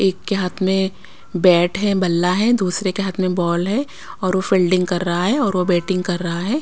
एक हाथ में बैट है बला है दूसरे के हाथ में बॉल है और वो फील्डिंग कर रहा है और वो बैटिंग कर रहा है।